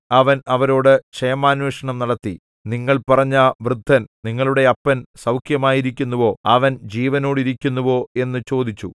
അവൻ അവരോടു ക്ഷേമാന്വേഷണം നടത്തി നിങ്ങൾ പറഞ്ഞ വൃദ്ധൻ നിങ്ങളുടെ അപ്പൻ സൗഖ്യമായിരിക്കുന്നുവോ അവൻ ജീവനോടിരിക്കുന്നുവോ എന്നു ചോദിച്ചു